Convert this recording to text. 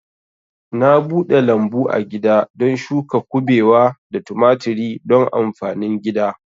Na bude lambu agida don shuka kubewa da tumaturi don amfanin gida